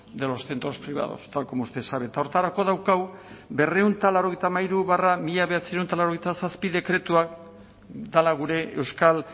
de los centros privados tal como usted sabe eta horretarako daukagu berrehun eta laurogeita hamairu barra mila bederatziehun eta laurogeita zazpi dekretua dela gure euskal